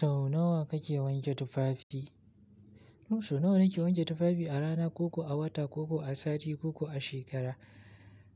Sau nawa kake wanke tufafi? Sau nawa nake wanke tufafi a rana, ko kuwa a wata, ko kuwa a sati ko kuwa a shekara?